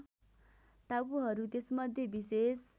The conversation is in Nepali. टापुहरू त्यसमध्ये विशेष